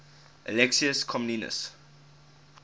alexius comnenus